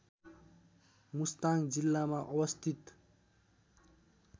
मुस्ताङ जिल्लामा अवस्थित